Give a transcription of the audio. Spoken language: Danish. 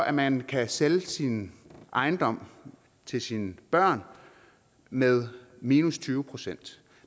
at man kan sælge sin ejendom til sine børn med minus tyve procent